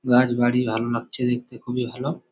গাছ বাড়ি ভালো লাগছে দেখতে খুবই ভালো।